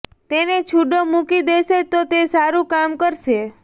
તેને છુડો મુકી દેશે તો તે સારું કામ કરશે